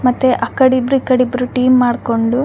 ಮತ್ತೆ ಅಕಡಿ ಇಬ್ರು ಇಕಡಿ ಇಬ್ರು ಟೀಮ್ ಮಾಡ್ಕೊಂಡು --